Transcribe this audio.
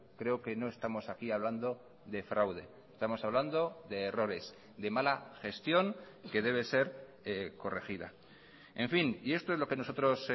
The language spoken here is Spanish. creo que no estamos aquí hablando de fraude estamos hablando de errores de mala gestión que debe ser corregida en fin y esto es lo que nosotros